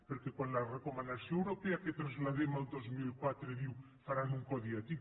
perquè quan la recomanació europea que traslladem el dos mil quatre diu faran un codi ètic